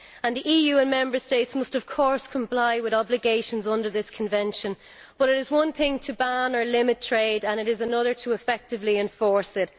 The EU and Member States must, of course, comply with obligations under this Convention, but it is one thing to ban or limit trade and it is another to effectively enforce it.